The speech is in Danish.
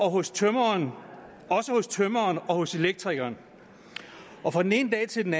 hos tømreren og hos elektrikeren og fra den ene dag til den